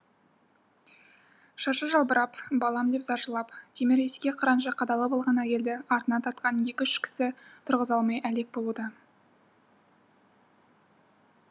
шашы жалбырап балам деп зар жылап темір есікке қыранша қадалып алған әйелді артынан тартқан екі үш кісі тұрғыза алмай әлек болуда